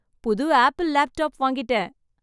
புது Apple laptop வாங்கிட்டேன்.